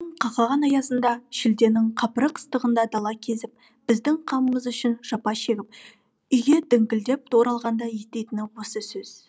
қақаған аязында шілденің қапырық ыстығында дала кезіп біздің қамымыз үшін жапа шегіп үйге діңкілдеп те оралғанда еститіні осы сөз